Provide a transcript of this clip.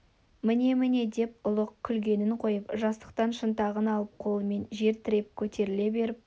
міне міне деді ұлық күлгенін қойып жастықтан шынтағын алып қолымен жер тіреп көтеріле беріп